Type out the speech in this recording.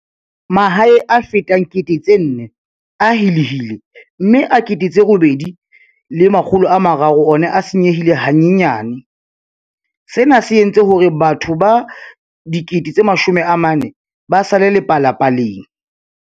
Mahae a fetang 4 000 a helehile mme a 8 300 ona a senyehile hanyenyane, sena se entse hore batho ba 40 000 ba sale lepalapaleng.